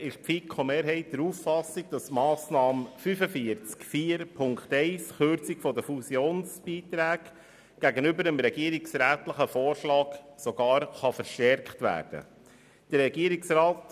Bei 7.b ist die FiKo-Mehrheit der Meinung, dass die Massnahme 45.4.1, Kürzung der Fusionsbeiträge, gegenüber dem regierungsrätlichen Vorschlag sogar verstärkt werden kann.